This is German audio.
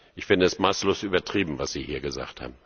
Ich finde es maßlos übertrieben, was Sie hier gesagt haben.